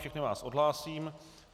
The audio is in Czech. Všechny vás odhlásím.